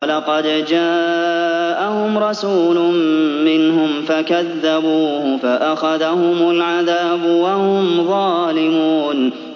وَلَقَدْ جَاءَهُمْ رَسُولٌ مِّنْهُمْ فَكَذَّبُوهُ فَأَخَذَهُمُ الْعَذَابُ وَهُمْ ظَالِمُونَ